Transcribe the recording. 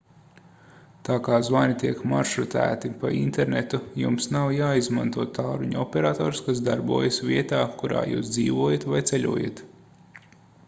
tā kā zvani tiek maršrutēti pa internetu jums nav jāizmanto tālruņa operators kas darbojas vietā kurā jūs dzīvojat vai ceļojat